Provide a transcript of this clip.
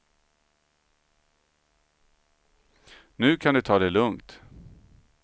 Nu kan du ta det lugnt.